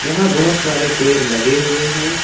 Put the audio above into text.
यहां बहुत सारे पेड़ लगे हुए हैं।